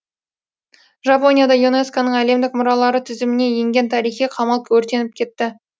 жапонияда юнеско ның әлемдік мұралары тізіміне енген тарихи қамал өртеніп кетті